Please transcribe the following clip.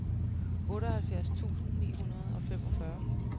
otteoghalvfjerds tusind ni hundrede og femogfyrre